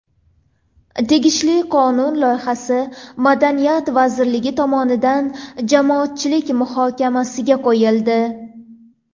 Tegishli qonun loyihasi Madaniyat vazirligi tomonidan jamoatchilik muhokamasiga qo‘yildi.